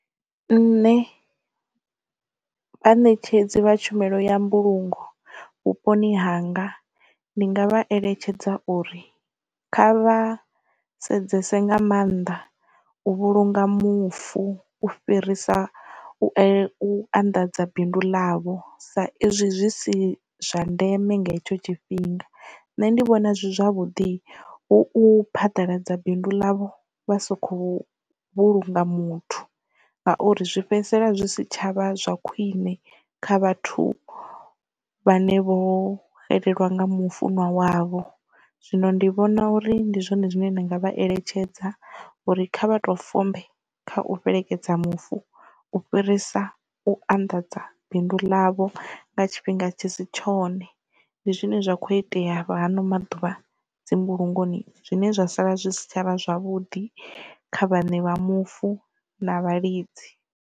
Nṋe vhaṋetshedzi vha tshumelo ya mbulungo vhuponi hanga ndi nga vha eletshedza uri kha vha sedzese nga maanḓa u vhulunga mufu u fhirisa u anḓadza bindu ḽavho sa izwi zwi si zwa ndeme nga hetsho tshifhinga. Nṋe ndi vhona zwi zwavhuḓi u phaḓaladza bindu ḽavho vha soko vhulunga muthu ngauri zwi fhedzisela zwi si tshavha zwa khwine kha vhathu vhane vho xelelwa nga mufunwa wavho. Zwino ndi vhona uri ndi zwone zwine nda nga vha eletshedza uri kha vha to fombe kha u fhelekedza mufu u fhirisa u anḓadza bindu ḽavho nga tshifhinga tshi si tshone ndi zwine zwa kho itea vha hano maḓuvha dzi mbulungoni zwine zwa sala zwi si tshavha zwavhuḓi kha vhane vha mufu na vhalidzi.